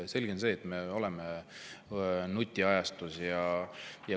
Selge on see, et me elame nutiajastus.